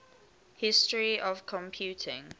history of computing